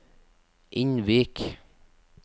Innvik